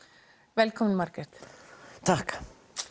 velkomin Margrét takk